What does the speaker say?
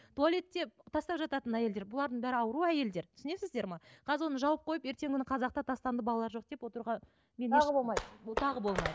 туалетте тастап жататын әйелдер бұлардың бәрі ауру әйелдер түсінесіздер ме қазір оны жауып қойып ертеңгі күні қазақта тастанды балар жоқ деп отыруға тағы